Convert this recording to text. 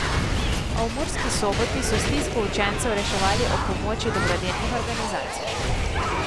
A v Murski Soboti so stisko učencev reševali ob pomoči dobrodelnih organizacij.